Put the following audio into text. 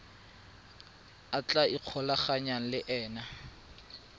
a tla ikgolaganyang le ena